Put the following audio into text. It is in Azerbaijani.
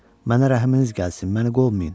Mənə rəhminiz gəlsin, məni qovmayın.